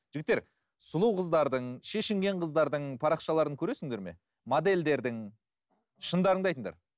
жігіттер сұлу қыздардың шешінген қыздардың парақшаларын көресіңдер ме модельдердің шындарыңды айтыңдар